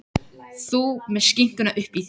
Þú með skinkuna uppí þér.